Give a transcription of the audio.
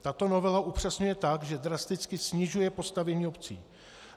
Tato novela upřesňuje tak, že drasticky snižuje postavení obcí.